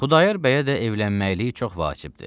Xudayar bəyə də evlənməkliyi çox vacibdir.